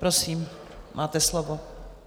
Prosím, máte slovo.